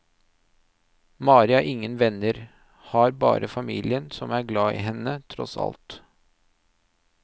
Mari har ingen venner, har bare familien som er glad i henne tross alt.